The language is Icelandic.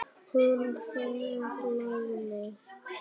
Hún þegir lengi.